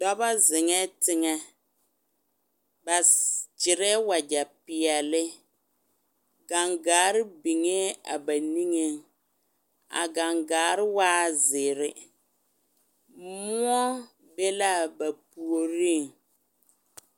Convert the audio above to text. Dɔba zeŋɛ teŋɛ ba gyɛre wagyɛ pɛɛle, gangaare biŋɛ a ba niŋɛ a gangaare waa zeɛre moɔ be la a ba puoriŋ.